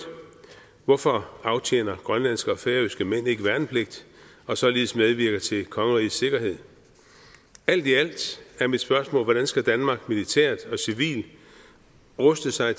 hvorfor aftjener grønlandske og færøske mænd ikke værnepligt og således medvirker til rigets sikkerhed alt i alt er mit spørgsmål hvordan skal danmark militært og civilt ruste sig